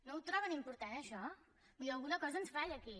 no ho troben important això vull dir alguna cosa ens falla aquí